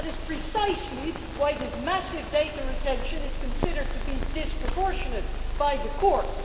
That is precisely why this massive data retention is considered to be disproportionate by the courts.